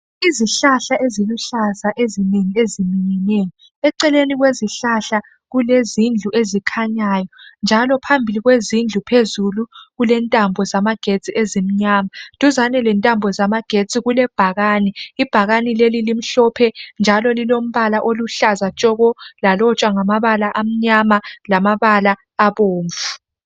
izihlahla eziluhlaza ezinenginengi eceleni kwezihlahla kulezindlu ezikhanyayo njalo phambili kwezindlu phezulu kulentambo zamagetsi ezimnyama duzane lentambo zamagetsi kulebhakane ibhakane leli limhlophe njalo lilombala oluhlaza tshoko lalotshwa ngamabala amnyama njalo abomvu